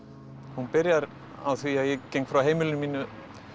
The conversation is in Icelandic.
hún byrjar á því að ég geng frá heimili mínu